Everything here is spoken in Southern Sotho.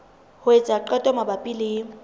ho etsa qeto mabapi le